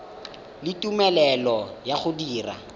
le tumelelo ya go dira